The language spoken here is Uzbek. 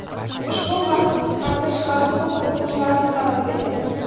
Ushbu farqni qisqartish hali ko‘p urinishlarni talab etadi.